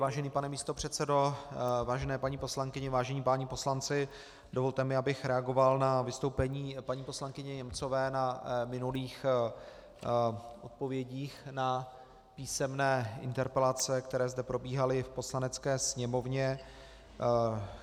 Vážený pane místopředsedo, vážené paní poslankyně, vážení páni poslanci, dovolte mi, abych reagoval na vystoupení paní poslankyně Němcové na minulých odpovědích na písemné interpelace, které zde probíhaly v Poslanecké sněmovně.